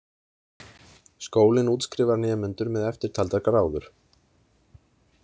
Skólinn útskrifar nemendur með eftirtaldar gráður.